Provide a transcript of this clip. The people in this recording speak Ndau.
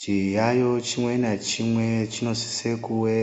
Chiyayiyo chimwe nachimwe chinosise kuve